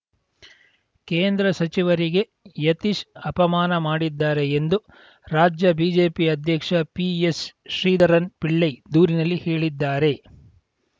ಕೇಂದ್ರ ಸಚಿವರಿಗೆ ಯತೀಶ್‌ ಅಪಮಾನ ಮಾಡಿದ್ದಾರೆ ಎಂದು ರಾಜ್ಯ ಬಿಜೆಪಿ ಅಧ್ಯಕ್ಷ ಪಿಎಸ್‌ ಶ್ರೀಧರನ್‌ ಪಿಳ್ಳೈ ದೂರಿನಲ್ಲಿ ಹೇಳಿದ್ದಾರೆ